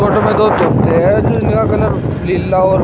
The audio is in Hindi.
फोटो में दो तोते हैं जिनका कलर नीला और--